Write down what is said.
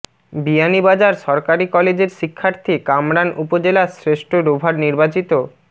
বিয়ানীবাজার সরকারি কলেজের শিক্ষার্থী কামরান উপজেলার শ্রেষ্ঠ রোভার নির্বাচিত